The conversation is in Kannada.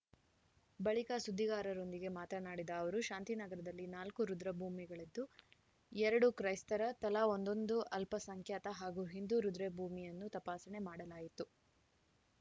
ಬಳಿಕ ಸುದ್ದಿಗಾರರೊಂದಿಗೆ ಮಾತನಾಡಿದ ಅವರು ಶಾಂತಿನಗರದಲ್ಲಿ ನಾಲ್ಕು ರುದ್ರಭೂಮಿಗಳಿದ್ದು ಎರಡು ಕ್ರೈಸ್ತರ ತಲಾ ಒಂದೊಂದು ಅಲ್ಪಸಂಖ್ಯಾತ ಹಾಗೂ ಹಿಂದೂ ರುದ್ರಭೂಮಿಯನ್ನು ತಪಾಸಣೆ ಮಾಡಲಾಯಿತು